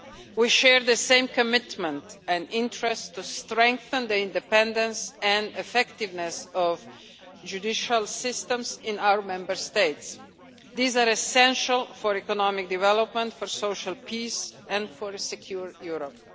We share the same commitment and interest to strengthen the independence and effectiveness of judicial systems in our Member States. These are essential for economic development, social peace and a secure Europe.